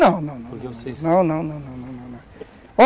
Não, não, não.